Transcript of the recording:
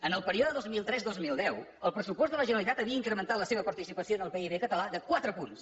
en el període dos mil tres dos mil deu el pressupost de la generalitat havia incrementat la seva participació en el pib català de quatre punts